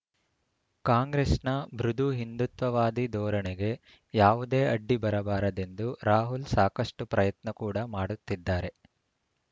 ಕಾಂಗ್ರೆಸ್‌ನ ಮೃದು ಹಿಂದುತ್ವವಾದಿ ಧೋರಣೆಗೆ ಯಾವುದೇ ಅಡ್ಡಿ ಬರಬಾರದೆಂದು ರಾಹುಲ್‌ ಸಾಕಷ್ಟುಪ್ರಯತ್ನ ಕೂಡ ಮಾಡುತ್ತಿದ್ದಾರೆ